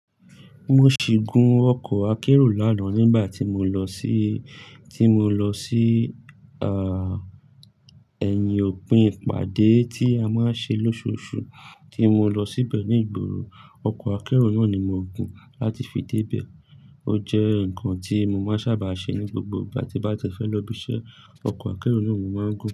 Mo ṣì gún ọkọ̀ akérò lánàá nígbà tí mo lọ sí, tí mo lọ sí, ẹ̀yìn òpin ìpàdé tí a máa ń ṣe lóṣooṣù, tí mo lọ síbẹ̀ ní ìgboro. Ọkọ̀ akérò náà ni mo gùn láti fi débẹ̀. Ó jẹ́ nǹkan tí mo máa ń sábà ṣe ní gbogbo ìgbà tí bá ti fẹ́ lọ ibiṣẹ́, ọkọ̀ akérò na mo máa ń gùn.